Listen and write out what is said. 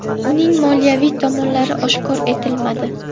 Uning moliyaviy tomonlari oshkor etilmadi.